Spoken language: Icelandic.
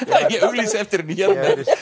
ég auglýsi eftir henni hér